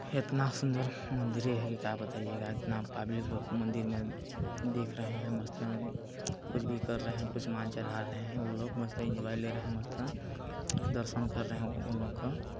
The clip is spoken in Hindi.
एतना सुंदर मंदिर है के का बताइयेगा इतना पब्लिक लोग मंदिर में दिख रहे है मस्त कुछ भी कर रहे है कुछ समान चढ़ा रहे है उन लोग मस्त एन्जॉय ले रहे है मस्त दर्शन कर रहे है उन लोग का--